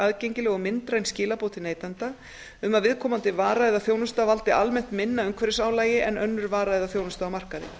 aðgengileg og myndræn skilaboð til neytanda um að viðkomandi vara eða þjónusta valdi almennt minna umhverfisálagi en önnur vara eða þjónusta á markaði